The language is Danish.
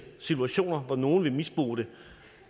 situationer hvor nogle vil misbruge det